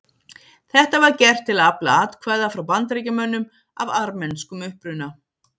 Þetta var gert til að afla atkvæða frá Bandaríkjamönnum af armenskum uppruna.